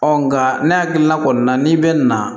nga ne hakili la kɔni na n'i bɛ na